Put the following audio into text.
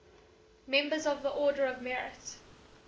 members of the order of merit